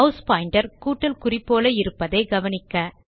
mass pointer கூட்டல் குறி போல இருப்பதை கவனிக்க